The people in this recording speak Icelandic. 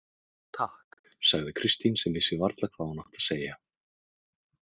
Takk, sagði Kristín sem vissi varla hvað hún átti að segja.